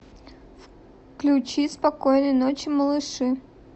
включи спокойной ночи малыши